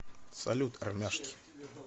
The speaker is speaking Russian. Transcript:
салют армяшки